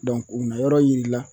o na yɔrɔ yiri la